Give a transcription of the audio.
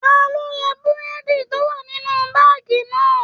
Talo ra burẹdi to wà nínú baagi náà?